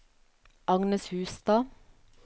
Agnes Hustad